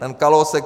Pan Kalousek.